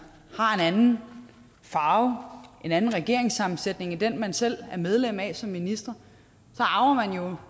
har en anden farve er en anden regeringssammensætning end den man selv er medlem af som minister så